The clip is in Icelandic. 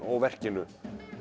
og verkinu